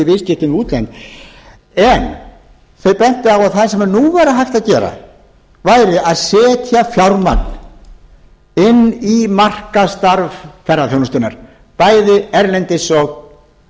viðskiptum við útlönd en þau bentu á að það sem nú væri hægt að gera væri að setja fjármagn inn í markaðsstarf ferðaþjónustunnar bæði erlendis og